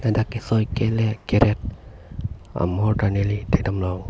dak kesoi kelet keret amohor ta neli thek damlong.